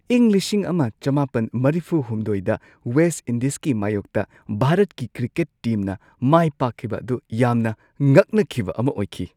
ꯏꯪ ꯱꯹꯸꯳ꯗ ꯋꯦꯁꯠ ꯏꯟꯗꯤꯁꯀꯤ ꯃꯥꯢꯌꯣꯛꯇ ꯚꯥꯔꯠꯀꯤ ꯀ꯭ꯔꯤꯀꯦꯠ ꯇꯤꯝꯅ ꯃꯥꯏꯄꯥꯛꯈꯤꯕ ꯑꯗꯨ ꯌꯥꯝꯅ ꯉꯛꯅꯈꯤꯕ ꯑꯃ ꯑꯣꯏꯈꯤ !